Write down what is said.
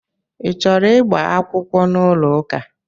I chọrọ ịgba akwụkwọ n'ụlọ ụka?